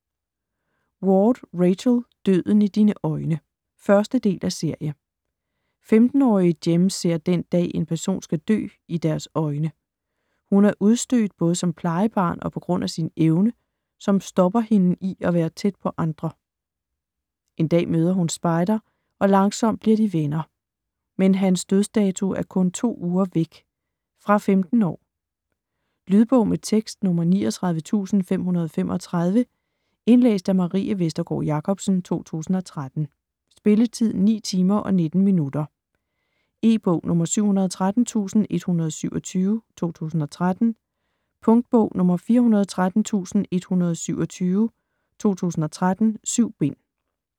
Ward, Rachel: Døden i dine øjne 1. del af serie. 15-årige Jem ser den dag, en person skal dø, i deres øjne. Hun er udstødt både som plejebarn og på grund af sin evne, som stopper hende i at være tæt på andre. En dag møder hun Spider, og langsomt bliver de venner. Men hans dødsdato er kun to uger væk. Fra 15 år. Lydbog med tekst 39535 Indlæst af Marie Vestergård Jacobsen, 2013. Spilletid: 9 timer, 19 minutter. E-bog 713127 2013. Punktbog 413127 2013. 7 bind.